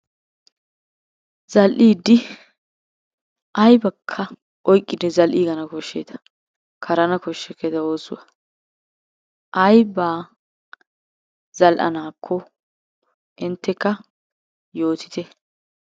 Zal"idi aybbakka oyqqidi zal"igana koshsheeta karana koshsheketta oosuwaa, ayb a zal"anakko inttekka yootite.